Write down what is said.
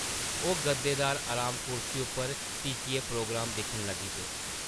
ओह् गद्देदार अराम कुर्सी उप्पर टिकियै प्रोग्राम दिक्खन लगी पे ।